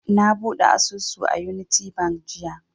Na buɗe asusu a unity bank jiya